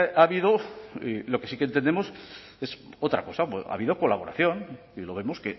ha habido y lo que sí que entendemos es otra cosa ha habido colaboración y lo vemos